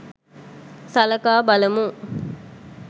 සලකා බලමු